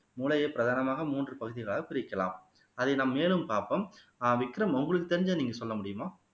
மூளையை பிரதானமாக மூன்று பகுதிகளாக பிரிக்கலாம் அதை நாம் மேலும் பார்ப்போம் ஆஹ் விக்ரம் உங்களுக்கு தெரிஞ்சதை நீங்க சொல்ல முடியுமா